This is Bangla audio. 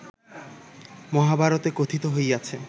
মহাভারতে কথিত হইয়াছে